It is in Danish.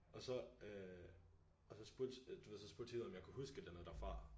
Og så øh og så spurgte du ved så spurgte Theo om jeg kunne huske et eller andet derfra